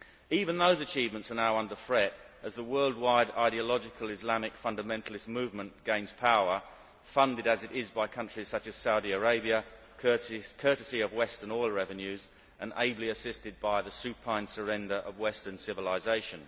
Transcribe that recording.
Even those achievements are now under threat as the worldwide ideological Islamic fundamentalist movement gains power, funded as it is by countries such as Saudi Arabia courtesy of Western oil revenues and ably assisted by the supine surrender of western civilisation.